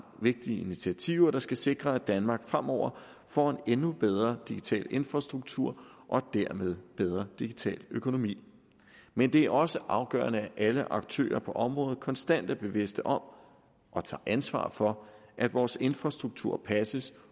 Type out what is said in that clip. vigtige initiativer der skal sikre at danmark fremover får en endnu bedre digital infrastruktur og dermed bedre digital økonomi men det er også afgørende at alle aktører på området konstant er bevidste om og tager ansvar for at vores infrastruktur passes